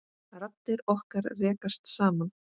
Raddir okkar rekast saman.